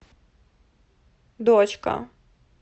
дочка